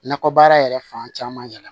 Nakɔ baara yɛrɛ fan caman yɛlɛ